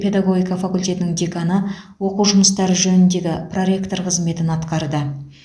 педагогика факультетінің деканы оқу жұмыстары жөніндегі проректор қызметін атқарды